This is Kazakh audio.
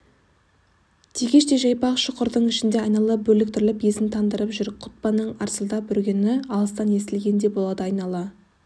тегештей жайпақ шұқырдың ішінде айнала бөрліктіріп есін тандырып жүр құтпанның арсылдап үргені алыстан естілгендей болады айнала